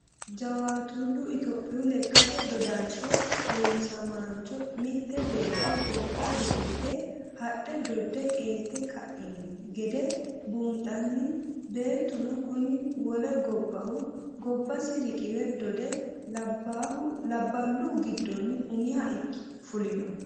Jawaatule itophiyu lekkate dodasho heewisamancho mite beetto gobba riqqibe hadhe dode qeelte kaino gede buunxanni beettuno kuni wole gobbahu gobbasi riqiwe dode labbalu giddoni umiha fullo.